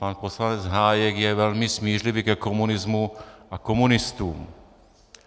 Pan poslanec Hájek je velmi smířlivý ke komunismu a komunistům.